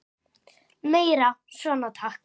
Meira svona takk.